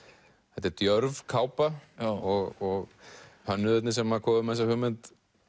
þetta er djörf kápa og hönnuðirnir sem komu með þessa hugmynd